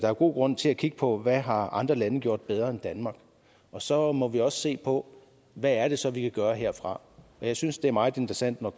er god grund til at kigge på hvad andre lande har gjort bedre end danmark og så må vi også se på hvad det så er vi kan gøre herfra jeg synes det er meget interessant når